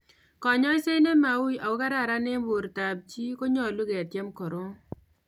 Konyaiset nemai ui ako kararan en borto ab chi konyolu ketyem koron